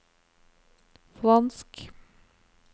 fransk